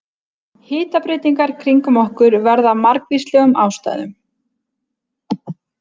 Hitabreytingar kringum okkur verða af margvíslegum ástæðum.